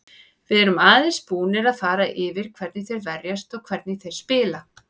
Við erum aðeins búnir að fara yfir hvernig þeir verjast og hvernig þeir spila.